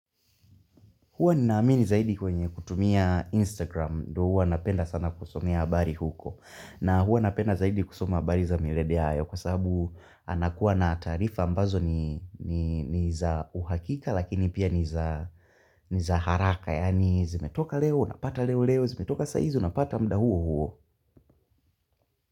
Huwa ninaamini zaidi kwenye kutumia Instagram, ndo huwa napenda sana kusomea habari huko, na huwa napenda zaidi kusoma habari za milede hayo kwa sababu anakuwa na tarifa ambazo nii nii ni za uhakika lakini pia ni za ni za haraka, yaani zimetoka leo, napata leo leo, zimetoka saizo, napata muda huo huo.